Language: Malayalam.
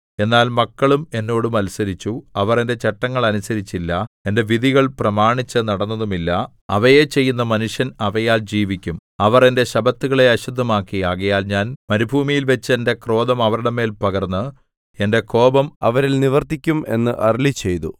എന്നാൽ മക്കളും എന്നോട് മത്സരിച്ചു അവർ എന്റെ ചട്ടങ്ങൾ അനുസരിച്ചില്ല എന്റെ വിധികൾ പ്രമാണിച്ചുനടന്നതുമില്ല അവയെ ചെയ്യുന്ന മനുഷ്യൻ അവയാൽ ജീവിക്കും അവർ എന്റെ ശബ്ബത്തുകളെ അശുദ്ധമാക്കി ആകയാൽ ഞാൻ മരുഭൂമിയിൽവച്ച് എന്റെ ക്രോധം അവരുടെ മേൽ പകർന്ന് എന്റെ കോപം അവരിൽ നിവർത്തിക്കും എന്ന് അരുളിച്ചെയ്തു